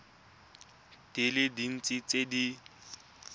di le dintsi tse di